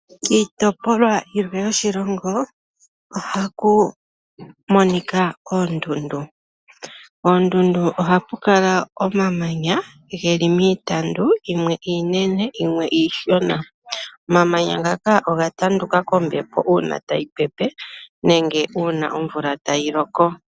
Kiitopolwa yilwe yoshilongo oha ku monika oondundu. Oondundu oha pu kala omamanya geli miitandu. Yimwe iinene yimwe iishona. Omamanya ngaaka oga tanduka kombepo una tayi pepe. Nenge una omumvula tayi loko.